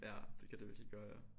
Ja det kan det virkelig gøre ja